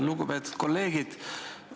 Lugupeetud kolleegid!